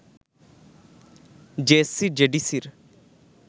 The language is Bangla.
জেএসসি-জেডিসির